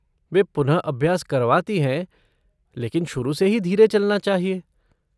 वे पुनःअभ्यास करवाती हैं लेकिन शुरू से ही धीरे चलना चाहिए।